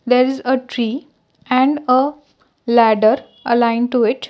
there is a tree and a ladder aligned to it.